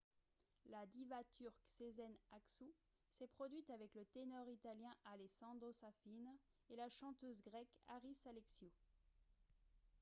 la diva turque sezen aksu s'est produite avec le ténor italien alessandro safina et la chanteuse grecque haris alexiou